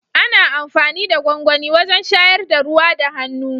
Ana amfani da gwangwani wajen shayar da ruwa da hannu.